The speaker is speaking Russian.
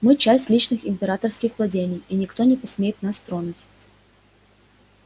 мы часть личных императорских владений и никто не посмеет нас тронуть